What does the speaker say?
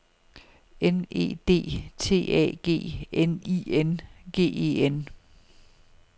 N E D T A G N I N G E N